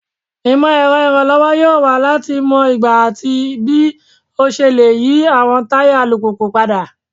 Imọ-ẹrọ iranlọwọ yoo wa lati mọ igba ati bii o ṣe le yi awọn taya alupupu pada